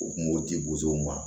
U kun b'o di bosow ma